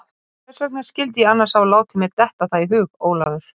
sagði hann með rödd sem var nú eins bljúg og hún hafði áður verið ógnandi.